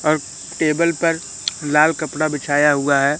और टेबल पर लाल कपड़ा बिछाया हुआ है।